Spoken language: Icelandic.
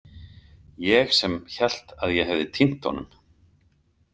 Ég sem hélt að ég hefði týnt honum.